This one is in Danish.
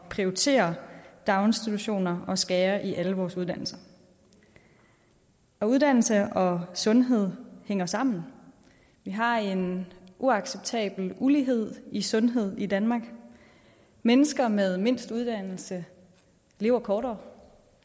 prioritere daginstitutioner og skærer i alle vores uddannelser og uddannelse og sundhed hænger sammen vi har en uacceptabel ulighed i sundhed i danmark mennesker med mindst uddannelse lever kortere og